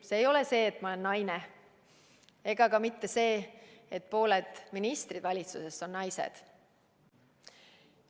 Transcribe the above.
Ei, see ei ole see, et ma olen naine, ega ka mitte see, et pooled ministrid valitsuses on naised.